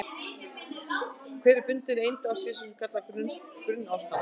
Hver bundin eind á sér svo kallað grunnástand.